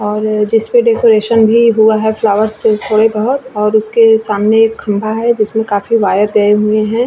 और जिस पे डेकोरेशन भी हुआ है फ्लावर्स से वे बहुत और उसके सामने एक खंभा है जिसमें काफी वायर गए हुए है ।